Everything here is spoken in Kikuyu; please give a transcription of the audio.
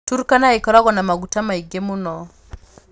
Turkana ĩkoragwo na maguta maingĩ mũno.